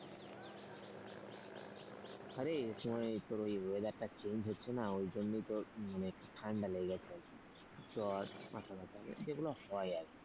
আরে ওই তোর ওই weather টা change হচ্ছে না ওই জন্যই তোর ঠান্ডা লেগেছে আরকি জ্বর মাথাব্যাথা যেগুলো হয় আরকি।